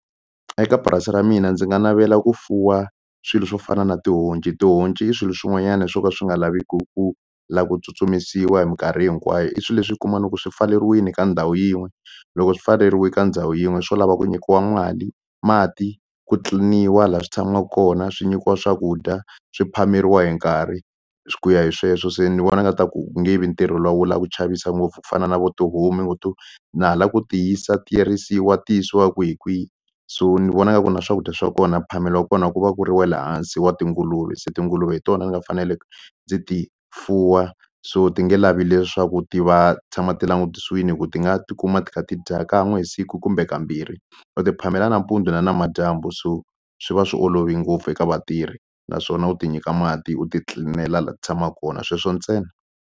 Eka purasi ra mina ndzi nga navela ku fuwa swilo swo fana na tihonci, tihonci i swilo swin'wanyana swo ka swi nga laveku ku la ku tsutsumisiwa hi minkarhi hinkwayo i swi leswi u kuma no ku swi pfaleriwini ka ndhawu yin'we loko swi pfaleriwe ka ndhawu yin'we swo lava ku nyikiwa mali mati ku clean-iwa la swi tshama kona swi nyikiwa swakudya swi phameriwa hi nkarhi swi ku ya hi sweswo se ni vona nga ta ku ku nge vi ntirho luwa wo la ku chavisa ngopfu ku fana na vo tihomu ni ngo to na hala ku ti yisa ti risiwa ti yisiwa kwihi kwihi so ni vona nga ku na swakudya swa kona phamelo wa kona ku va ku ri wale hansi wa tinguluve so tinguluve hi tona ni nga fanele ndzi ti fuwa so ti nge lavi leswaku ti va tshama ti langutisiwini hi ku ti nga tikuma ti kha ti dya kan'we hi siku kumbe kambirhi u ti phamela nampundzu na namadyambu so swi va swi olove ngopfu eka vatirhi naswona u ti nyika mati u ti clean-ela la ti tshamaka kona sweswo ntse.